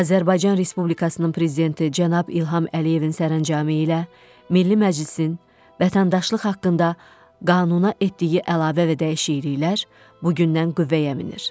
Azərbaycan Respublikasının Prezidenti cənab İlham Əliyevin sərəncamı ilə Milli Məclisin Vətəndaşlıq haqqında qanuna etdiyi əlavə və dəyişikliklər bu gündən qüvvəyə minir.